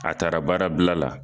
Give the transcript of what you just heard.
A taara baara bila la